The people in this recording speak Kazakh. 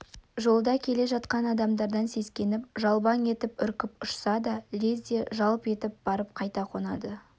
жолда келе жатқан адамдардан сескеніп жалбаң етіп үркіп ұшса да лезде жалп етіп барып қайта қонады